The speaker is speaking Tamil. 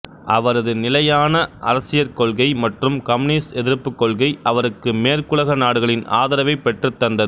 அவரது நிலையான அரசியற் கொள்கை மற்றும் கம்யூனிச எதிர்ப்புக் கொள்கை அவருக்கு மேற்குலக நாடுகளின் ஆதரவைப் பெற்றுத் தந்தது